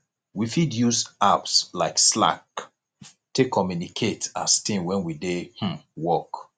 we fit use apps like slack take communicate as team when we dey um work